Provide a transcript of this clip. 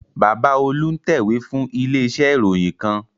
Bàbá Olú ń tẹ̀wé fún ilé iṣẹ́ ìròyìn kan